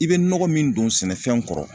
I be nɔgɔ min don sɛnɛfɛn kɔrɔ